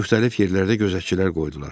Müxtəlif yerlərdə gözətçilər qoydular.